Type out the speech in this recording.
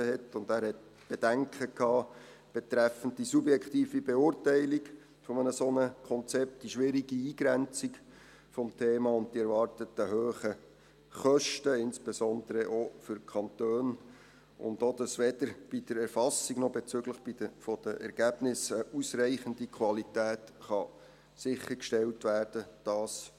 Er hatte Bedenken bezüglich der subjektiven Beurteilung eines solchen Konzepts, der schwierigen Eingrenzung des Themas und der erwarteten hohen Kosten, insbesondere auch für die Kantone, und auch, dass weder bei der Erfassung noch hinsichtlich der Ergebnisse eine ausreichende Qualität sichergestellt werden kann.